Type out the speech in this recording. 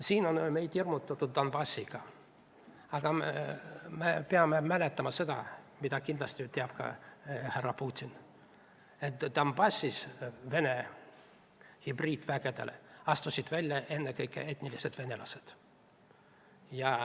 Meid on hirmutatud Donbassiga, aga me peame mäletama seda, mida kindlasti teab ka härra Putin, et Donbassis astusid Vene hübriidvägede vastu välja ennekõike etnilised venelased.